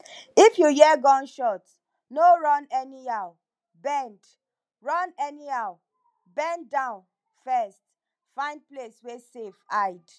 if you hear gunshot no run anyhow bend run anyhow bend down first find place wey safe hide